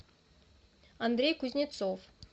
андрей кузнецов